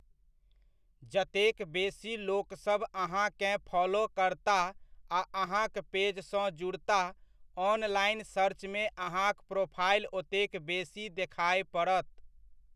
जतेक बेसी लोकसभ अहाँकेँ फॉलो करताह आ अहाँक पेजसँ जुड़ताह, ऑनलाइन सर्चमे अहाँक प्रोफाइल ओतेक बेसी देखाय पड़त।